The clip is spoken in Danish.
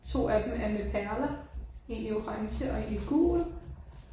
2 af dem er med perler. En i orange og en i gul